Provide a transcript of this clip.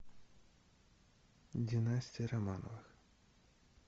династия романовых